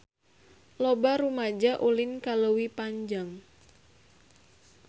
Loba rumaja ulin ka Leuwi Panjang